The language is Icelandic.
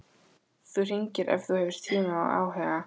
Þú hringir ef þú hefur tíma og áhuga.